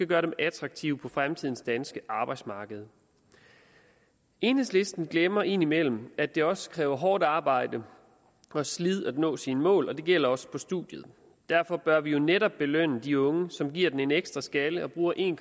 gør dem attraktive på fremtidens danske arbejdsmarked enhedslisten glemmer indimellem at det også kræver hårdt arbejde og slid at nå sine mål og det gælder også på studiet derfor bør vi jo netop belønne de unge som giver den en ekstra skalle og bruge en